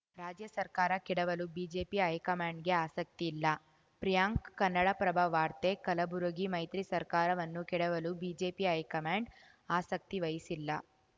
ರಾಜ್ಯ ಸರ್ಕಾರ ಕೆಡವಲು ಬಿಜೆಪಿ ಹೈಕಮಾಂಡ್‌ಗೆ ಆಸಕ್ತಿ ಇಲ್ಲ ಪ್ರಿಯಾಂಕ್‌ ಕನ್ನಡಪ್ರಭ ವಾರ್ತೆ ಕಲಬುರಗಿ ಮೈತ್ರಿ ಸರ್ಕಾರವನ್ನು ಕೆಡವಲು ಬಿಜೆಪಿ ಹೈಕಮಾಂಡ್‌ ಆಸಕ್ತಿ ವಹಿಸಿಲ್ಲ